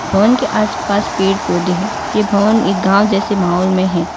भवन के आस पास पेड़ पौधे है ये भवन एक गांव जैसे माहौल में हैं।